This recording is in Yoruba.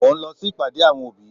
Mo ń lọ sí ìpàdé àwọn òbí.